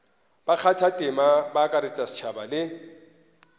bakgathatema ba akaretša setšhaba le